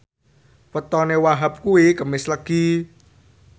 wetone Wahhab kuwi Kemis Legi